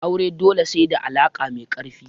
Aure dole sai da alaka mai karfi.